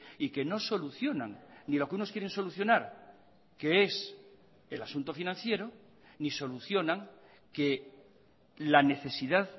y que no solucionan ni lo que unos quieren solucionar que es el asunto financiero ni solucionan que la necesidad